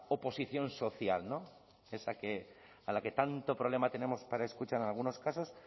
oposición social esa a la tanto problema tenemos para escuchar en algunos casos